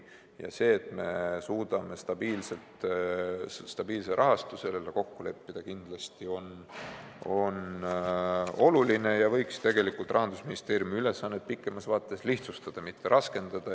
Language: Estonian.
Ja see, et me suudame stabiilse rahastuse kokku leppida, on kindlasti oluline ja võiks Rahandusministeeriumi ülesannet pikemas vaates lihtsustada, mitte raskendada.